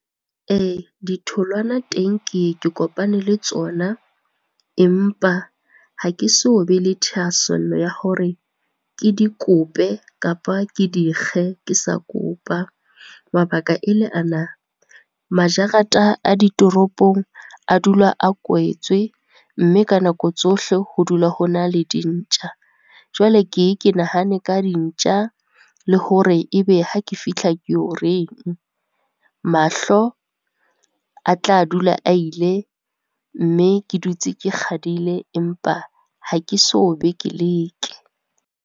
Ee, ditholwana teng ke ye ke kopane le tsona empa ha ke so be le thahasello ya hore ke di kope kapa ke di kge ke sa kopa. Mabaka e le ana, majarata a ditoropong a dula a kwetswe mme ka nako tsohle ho dula hona le di ntja. Jwale ke ye ke nahane ka dintja le hore e be ha ke fihla ke yo reng. Mahlo a tla dula a ile, mme ke dutse ke kgadile empa ha ke so be ke leke.